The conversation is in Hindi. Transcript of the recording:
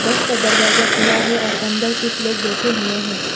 बस का दरवाजा खुला है और अंदर कुछ लोग बैठे हुएं हैं।